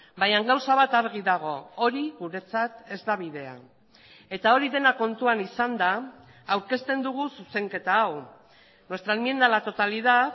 baina gauza bat argi dago hori guretzat ez da bidea eta hori dena kontuan izanda aurkezten dugu zuzenketa hau nuestra enmienda a la totalidad